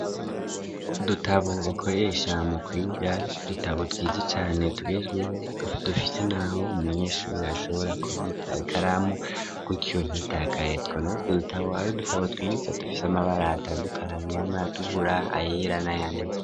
Udutabo bakoresha mu kwiga dutabo twiza cane tugezweho dufise naho umunyeshuri ashobora kubika ikaramu kukiyo gitakaye tubona utwo dutabo twiza dufise amabara atandukanye harimwo ayatukura ayera na yandi.